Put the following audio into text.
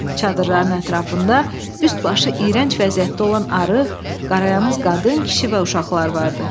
Çadırların ətrafında üst başı iyrənc vəziyyətdə olan arıq, qarayanaq qadın, kişi və uşaqlar vardı.